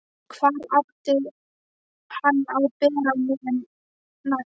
Hvar átti hann að bera niður næst?